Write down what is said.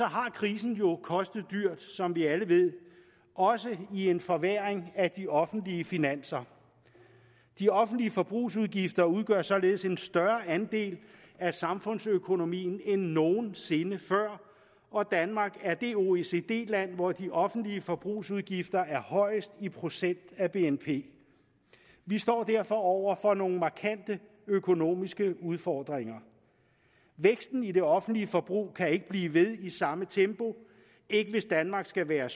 har krisen jo kostet dyrt som vi alle ved også i en forværring af de offentlige finanser de offentlige forbrugsudgifter udgør således en større andel af samfundsøkonomien end nogen sinde før og danmark er det oecd land hvor de offentlige forbrugsudgifter er højst i procent af bnp vi står derfor over for nogle markante økonomiske udfordringer væksten i det offentlige forbrug kan ikke blive ved i samme tempo hvis danmark skal være